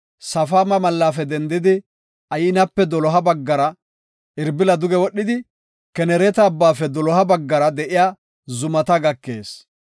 Safaama mallafe dendidi Aynape doloha baggara Irbila duge wodhidi Kenereeta Abbaafe doloha baggara de7iya zumata gakees.